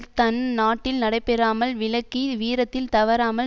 தன் நாட்டில் நடைபெறாமல் விலக்கி வீரத்தில் தவறாமல்